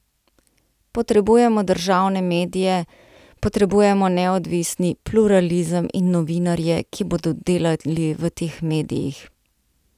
Potrebujemo državne medije, potrebujemo neodvisni pluralizem in novinarje, ki bodo delali v teh medijih.